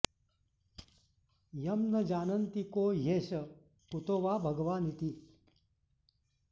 यं न जानन्ति को ह्येष कुतो वा भगवानिति